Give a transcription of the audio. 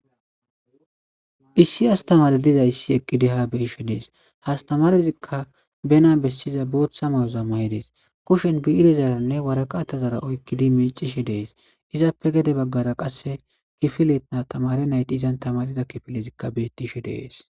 Issi astamere dizaysi eqidi ha beyishe des astamarezika bene besiza bootha mayoza mayides kushen bi'irezara waraqatara oykidi micishe des izape gede bagara tamare nayti izan tamaroza kifiley de'es